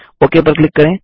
okay पर click करें